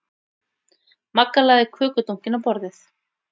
Magga lagði kökudunkinn á borðið.